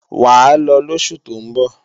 Wàá lọ lósù tó ń bọ̀!